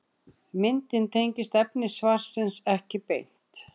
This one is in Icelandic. Myndin tengist efni svarsins ekki beint.